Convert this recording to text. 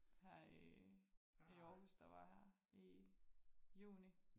Her i i Aarhus der var her i juni